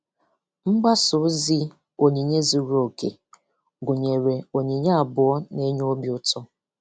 Mgbasa ozi 'Onyinye zuru oke' gụnyere onyinye abụọ n'enye obi ụtọ.